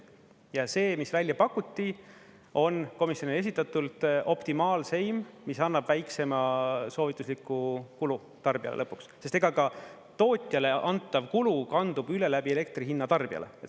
Ja see, mis välja pakuti, on komisjonile esitatult optimaalseim, mis annab väikseima soovitusliku kulu tarbijale lõpuks, sest ega ka tootjale antav kulu kandub üle läbi elektri hinna tarbijale.